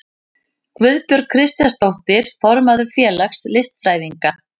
Guðbjörg Kristjánsdóttir, formaður félags listfræðinga.